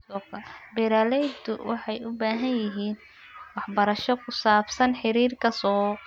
Beeraleydu waxay u baahan yihiin waxbarasho ku saabsan xiriirka suuqa.